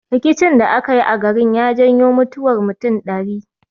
Rikicin da aka yi a garin ya janyo mutuwar mutum ɗari